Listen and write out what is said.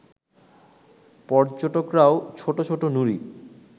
পর্যটকরাও ছোট ছোট নুড়ি